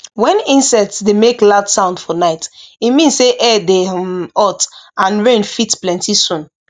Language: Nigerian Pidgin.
when insects dey make loud sound for night e mean say air dey um hot and rain fit plenty soon